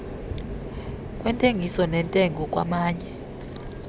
lweentengiso neentengo kwamanye